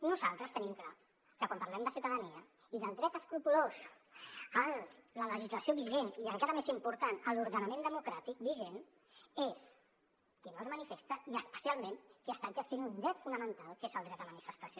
nosaltres tenim clar que quan parlem de ciutadania i del dret escrupolós a la legislació vigent i encara més important a l’ordenament democràtic vigent és qui no es manifesta i especialment qui està exercint un dret fonamental que és el dret a manifestació